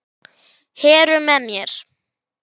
Þá verður